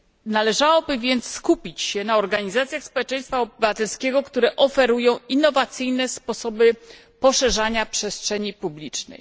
Należałoby więc skupić się na organizacjach społeczeństwa obywatelskiego, które oferują innowacyjne sposoby poszerzania przestrzeni publicznej.